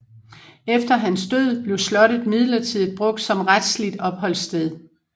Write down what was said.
Efter hans død blev slottet midlertidigt brugt som retsligt opholdssted